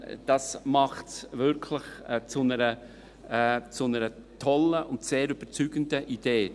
Das macht es wirklich zu einer tollen und sehr überzeugenden Idee.